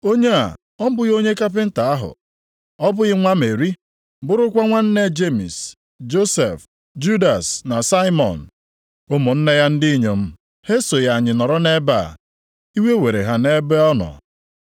Onye a ọ bụghị onye kapinta + 6:3 Onye ọkpọ ntu maọbụ onye ǹka ahụ? Ọ bụghị nwa Meri, bụrụkwa nwanne Jemis, Josef, + 6:3 Nʼime ụfọdụ akwụkwọ nsọ ị ga-ahụ Joses. Judas na Saimọn? Ụmụnne ya ndị inyom ha esoghị anyị nọrọ nʼebe a?” Iwe were ha nʼebe ọ nọ.